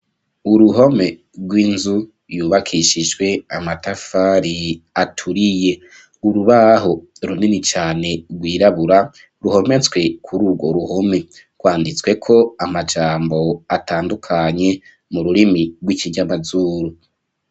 Uruhome rw'inzu yubakishijwe amatafari aturiye urubaho runini cane rwirabura ruhometswe kuri urwo ruhome rwanditsweko amajambo atandukanye mu rurimi rw'ikinyamazuru.